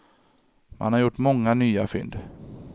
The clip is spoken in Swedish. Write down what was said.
Man har gjort många nya fynd.